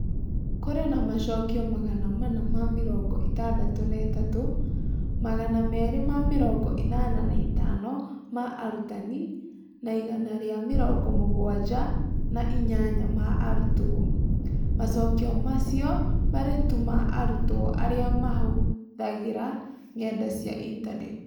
Kũrĩ na macokio magana mana ma mĩrongo ĩtadatũ na ĩtatũ (Magana merĩ ma mĩrongo ĩnana na ĩtano ma arutani na igana ria mĩrongo mũgwanja na inyanya ma arutwo), macokio macio maarĩ tu ma arutwo arĩa maahũthagĩra ngenda cia Intaneti.